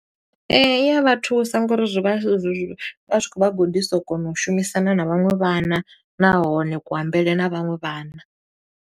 Ee, i ya vha thusa ngo uri zwi vha zwi , zwi vha zwi khou vha gudisa u kona u shumisana na vhaṅwe vhana, nahone kuambele na vhaṅwe vhana.